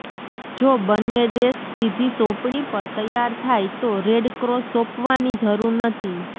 જો બંન્ને દેશ સીધી સોંપણી પર તૈયાર થાય તો રેડક્રોસ સોંપવાની જરૂર નથી